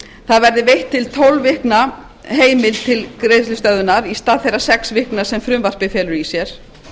það verði veitt til tólf vikna heimild til greiðslustöðvunar í stað þeirra sex vikna sem frumvarpið felur í sér